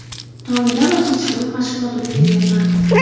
Tongda va kechqurun mashg‘ulot o‘tkazyapman.